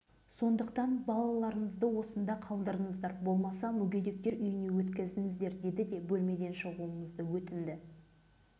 біз күйеуіміз екеуміз баламызды алып алматыдағы ақсай балалар емханасына бардық біз жөнімізді айттық біз сендерді қарамаймыз